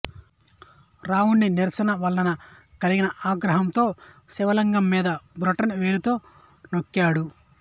రావణుడి నిరాశవలన కలిగిన ఆగ్రహంతో శివలింగం మీద బొటనవ్రేలితో నొక్కాడు